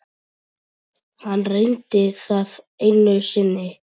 Hann reyndi það einu sinni.